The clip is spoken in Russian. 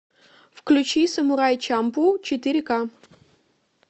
включи самурай чамплу четыре ка